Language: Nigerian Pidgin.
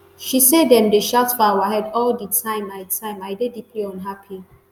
she say dem dey shout for our head all di time i time i dey deeply unhappy